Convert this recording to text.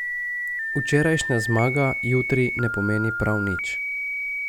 Včerajšnja zmaga jutri ne pomeni prav nič.